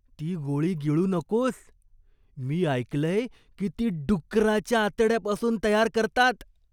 ती गोळी गिळू नकोस. मी ऐकलंय की ती डुक्कराच्या आतड्यापासून तयार करतात.